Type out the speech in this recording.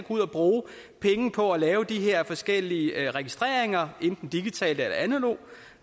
ud at bruge penge på at lave de her forskellige registreringer enten digitalt eller analogt